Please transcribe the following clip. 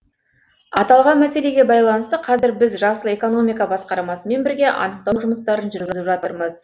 аталған мәселеге байланысты қазір біз жасыл экономика басқармасымен бірге анықтау жұмыстарын жүргізіп жатырмыз